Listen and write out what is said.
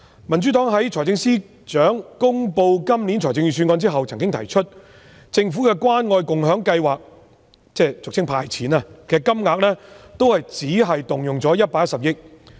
民主黨在財政司司長公布本年度的預算案後曾經提出，政府的關愛共享計劃——俗稱"派錢"——只動用了110億元。